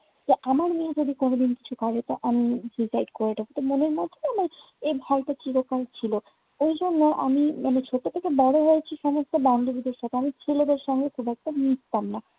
তো আমার মেয়ে যদি কোনোদিন কিছু করে তো আমি divide করে দেব। তো মনের মধ্যেও আমার এই ভয়টা চিরকালই ছিলো। এইজন্য আমি মানে ছোট থেকে বড় হয়েছি সমস্ত বান্ধাবীদের সাথে, আমি ছেলেদের সঙ্গে খুব একটা মিশতাম না।